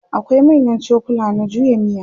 akwai manyan cokula na juya miya